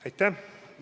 Aitäh!